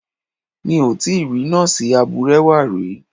Mi ò tíì rí Nọ́ọ̀sì abúrẹ́wà rí.